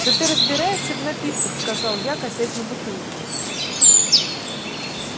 да ты разбираешься в напитках сказал я косясь на бутылку